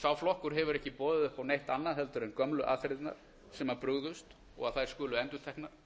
sá flokkur hefur ekki boðið upp á neitt annað heldur en gömlu aðferðirnar sem brugðust og að þær skulu endurteknar